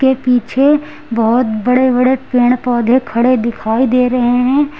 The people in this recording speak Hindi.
के पीछे बहुत बड़े बड़े पेड़ पौधे खड़े दिखाई दे रहे हैं।